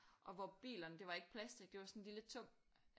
Og hvor bilerne det var ikke plastisk det var sådan en lille tung